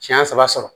Siɲɛ saba